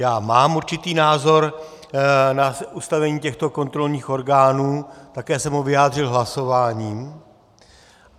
Já mám určitý názor na ustavení těchto kontrolních orgánů, také jsem ho vyjádřil hlasováním.